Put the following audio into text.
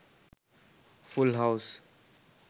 full house